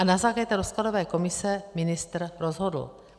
A na základě té rozkladové komise ministr rozhodl.